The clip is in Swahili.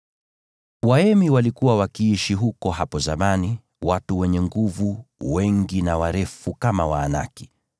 (Waemi walikuwa wakiishi huko hapo zamani, watu wenye nguvu na wengi, warefu kama Waanaki.